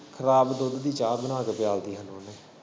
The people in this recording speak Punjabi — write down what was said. ਖਰਾਬ ਦੁੱਧ ਦੀ ਚਾਹ ਬਣਾ ਕੇ ਪਿਆ ਤੀ ਸਾਨੂੰ ਓਨੇ।